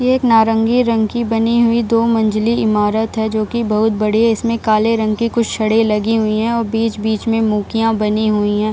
ये एक नारंगी रंग की बनी हुई दो मंजिले ईमारत है जो की बहुत बड़ी है इसमें काले रंग की कुछ छड़े लगी हुई है और बीच-बीच में मुकिया बनी हुई है।